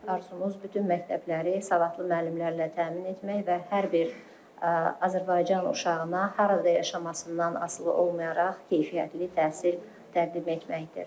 Arzumuz bütün məktəbləri savadlı müəllimlərlə təmin etmək və hər bir Azərbaycan uşağına harada yaşamasından asılı olmayaraq keyfiyyətli təhsil təqdim etməkdir.